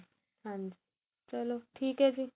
ਹਾਂਜੀ ਚਲੋ ਹੈ ਜ਼ੀ